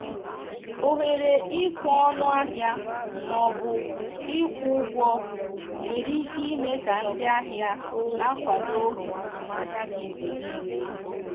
ohere ikwe ọnụ ahịa ma ọ bụ ịkwụ ụgwọ nwere ike ime ka ndị ahịa na-akwado azụmahịa gị mgbe niile.